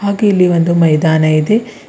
ಹಾಗೆ ಇಲ್ಲಿ ಒಂದು ಮೈದಾನ ಇದೆ.